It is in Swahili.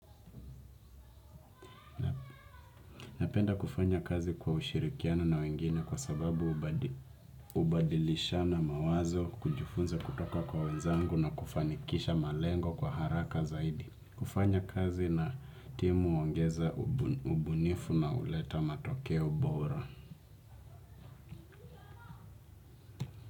Napenda kufanya kazi kwa ushirikiano na wengine kwa sababu ubadilishana mawazo kujufunza kutoka kwa wenzangu na kufanikisha malengo kwa haraka zaidi. Kufanya kazi na timu huongeza ubunifu na huleta matokeo bora.